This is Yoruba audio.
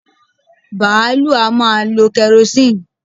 Bààlúù a máa lọ kẹrosíìnì